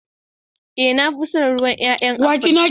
To, na fi son ruwan ƴaƴa aful don adanawa.